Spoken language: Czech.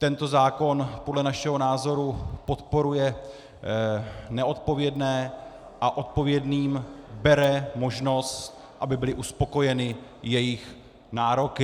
Tento zákon podle našeho názoru podporuje neodpovědné a odpovědným bere možnost, aby byly uspokojeny jejich nároky.